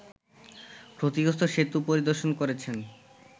ক্ষতিগ্রস্ত সেতু পরিদর্শন করেছেন